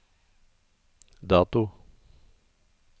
dato